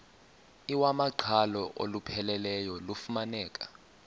iwamaqhalo olupheleleyo lufumaneka